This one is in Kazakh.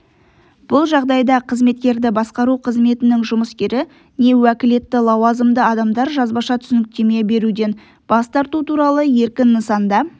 бұл жағдайда қызметкерді басқару қызметінің жұмыскері не уәкілетті лауазымды адамдар жазбаша түсініктеме беруден бас тарту туралы еркін нысанда